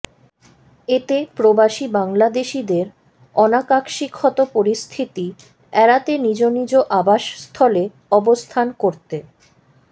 এতে প্রবাসী বাংলাদেশিদের অনাকাক্সিক্ষত পরিস্থিতি এড়াতে নিজ নিজ আবাসস্থলে অবস্থান করতে